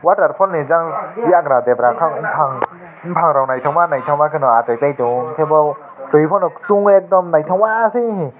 waterfall ni jang yagra debra kang bopang bopangrog naitokma naitokma ke achailai tango ang ke bo tui pono chong ekdam naitoka khe heee.